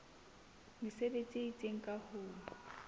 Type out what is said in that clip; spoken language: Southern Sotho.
mesebetsi e itseng ka ho